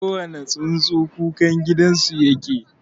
kowane tsuntsu kukangidanau yake